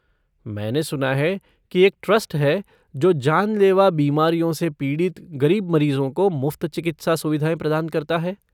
मैंने सुना है कि एक ट्रस्ट है जो जानलेवा बीमारियों से पीड़ित गरीब मरीजों को मुफ्त चिकित्सा सुविधाएँ प्रदान करता है।